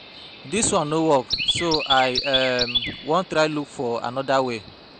Dis one no work so I um wan try look for um another way